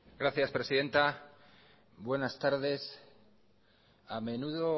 gracias presidenta buenas tardes a menudo